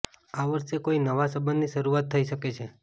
આ વર્ષે કોઈ નવા સંબંધની શરૂઆત થઈ શકે છે